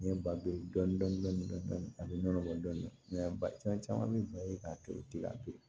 N ye balo dɔɔnin dɔɔnin a bɛ nɔnɔ bɔ dɔɔnin dɔɔnin ba caman bɛ ba ye k'a to ye tɛ ka to yen